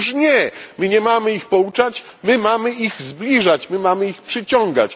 Otóż nie my nie mamy ich pouczać my mamy ich zbliżać, my mamy ich przyciągać.